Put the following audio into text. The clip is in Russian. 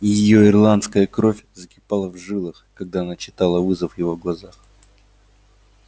и её ирландская кровь закипала в жилах когда она читала вызов в его глазах